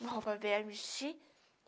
Uma roupa velha, mexi.